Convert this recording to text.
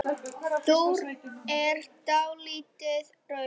Þú er dáldið rauð.